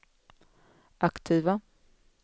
aktiva